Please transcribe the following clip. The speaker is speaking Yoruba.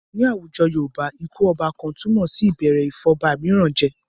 Ní àwùjọ Yorùbá, ikú ọba kan túmọ̀ sí ìbẹ̀rẹ̀ ìfọ̀ba mìíràn jẹ.